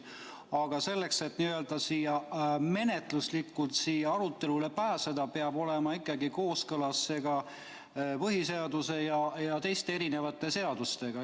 Aga selleks, et menetluslikult siia arutelule pääseda, peab see ikkagi olema kooskõlas põhiseaduse ja teiste seadustega.